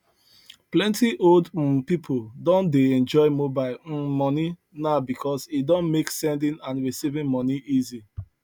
plenty old um people don dey enjoy mobile um money now because e don make sending and receiving money easy